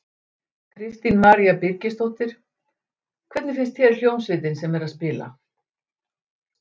Kristín María Birgisdóttir: Hvernig finnst þér hljómsveitin sem er að spila?